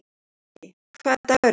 Bjöggi, hvaða dagur er í dag?